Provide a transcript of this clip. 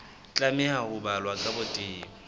tlameha ho balwa ka botebo